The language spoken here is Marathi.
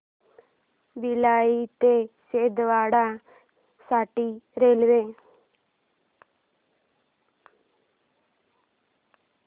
भिलाई ते छिंदवाडा साठी रेल्वे